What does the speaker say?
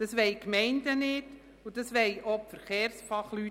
Auch die Gemeinden wollen das nicht und auch nicht die Verkehrsfachleute.